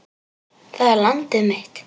Það er landið mitt!